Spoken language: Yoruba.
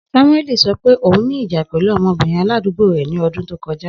Samueli sọ pe oun ni ija pẹlu ọmọbirin aladugbo rẹ ni ọdun to kọja.